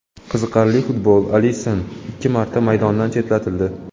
Qiziqarli futbol: Alisson ikki marta maydondan chetlatildi.